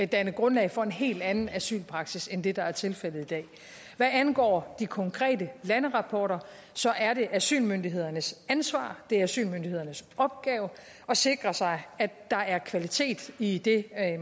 danne grundlag for en helt anden asylpraksis end det der er tilfældet i dag hvad angår de konkrete landerapporter så er det asylmyndighedernes ansvar det er asylmyndighedernes opgave at sikre sig at der er kvalitet i det